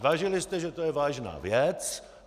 Zvážili jste, že to je vážná věc.